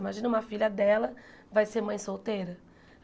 Imagina uma filha dela, vai ser mãe solteira?